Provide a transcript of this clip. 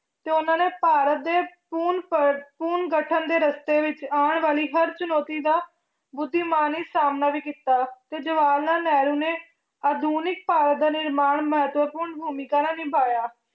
ਤੇ ਉਹਨਾਂ ਨੇ ਭਾਰਤ ਦੇ ਪੂਰਨ ਗਠਨ ਦੇ ਰਸ਼ਤੇ ਵਿੱਚ ਆਉਣ ਵਾਲੀ ਹਰ ਚੁਣੌਤੀ ਦਾ ਬੁਧੀਮਾਨੀ ਸਾਹਮਣਾ ਵੀ ਕੀਤਾ ਤੇ ਜਵਾਹਰ ਲਾਲ ਨਹਿਰੂ ਨੇ ਆਧੁਨਿਕ ਭਾਰਤ ਦਾ ਨਿਰਮਾਣ ਮਹੱਤਵਪੂਰਨ ਭੁਮਿਕਾ ਨਾਲ ਨਿਭਾਇਆ,